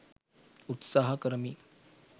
උත්සහා කරමි